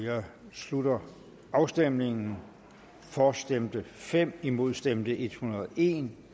slutter afstemningen for stemte fem imod stemte en hundrede og en